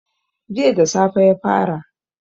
Jiya da safe ya fara